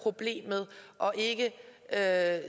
det er